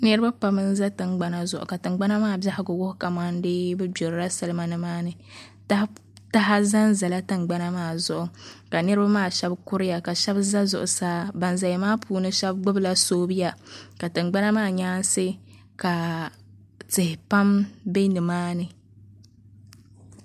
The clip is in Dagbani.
Niraba pam n ʒɛ tingbana zuɣu ka tingbana maa biɛhagu wuhi kamani deei bi gbirila salima nimaani taha ʒɛnʒɛla tingbana maa zuɣu ka niraba maa shab kuriya ka shab ʒɛ zuɣusaa ban ʒɛya maa puuni shab gbubila soobuya ka tingbana maa nyaansi ka tihi pam bɛ nimaa ni